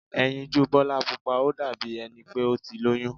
Ẹyinjú Bọ́lá Pupa ó dàbí ẹni pé ó ti lóyún.